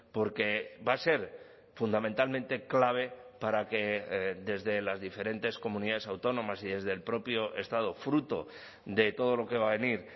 porque va a ser fundamentalmente clave para que desde las diferentes comunidades autónomas y desde el propio estado fruto de todo lo que va a venir